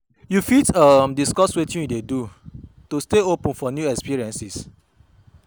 You fit um discuss witin you dey do to stay open for new experiences?